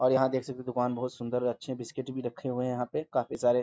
और यहाँ देख सकते हैं दुकान बहुत सुन्दर और अच्छे हैं बिस्कुट भी रखे हुए हैं। यहाँ पे काफी सारे --